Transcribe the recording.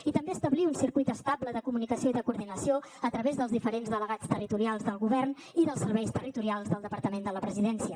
i també establir un circuit estable de comunicació i de coordinació a través dels diferents delegats territorials del govern i dels serveis territorials del departament de la presidència